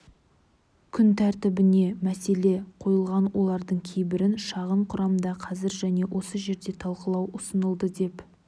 күн тәртібіне мәселе қойылған олардың кейбірін шағын құрамда қазір және осы жерде талқылау ұсынылды деп